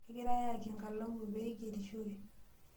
Kigirae aayaki enkalamu pee ingerishore.